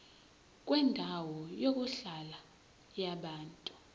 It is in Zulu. kwendawo yokuhlala yabantu